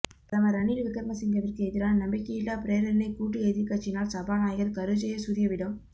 பிரதமர் ரணில் விக்ரமசிங்கவிற்கு எதிரான நம்பிக்கையில்லா பிரேரணை கூட்டு எதிர்க்கட்சியினால் சபாநாயகர் கருஜயசூரியவிடம்